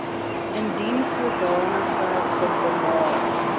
indien sodanige bedrae